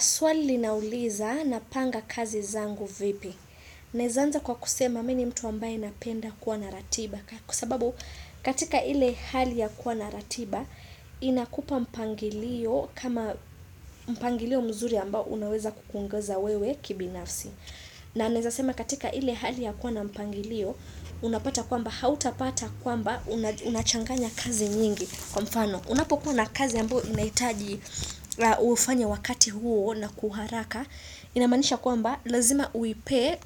Swali linauliza napanga kazi zangu vipi. Naweza anza kwa kusema mimi ni mtu ambaye napenda kuwa na ratiba. Kwa sababu katika ile hali ya kuwa na ratiba inakupa mpangilio kama mpangilio mzuri ambao unaweza kukuongoza wewe kibinafsi. Na naweza sema katika ile hali ya kuwa na mpangilio unapata kwamba hautapata kwamba unachanganya kazi nyingi. Kwa mfano, unapokuwa na kazi ambayo inahitaji ufanye wakati huo na kwa uharaka, inamaanisha kwamba lazima uipe